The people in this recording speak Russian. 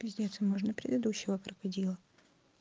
пиздец и можно предыдущего крокодила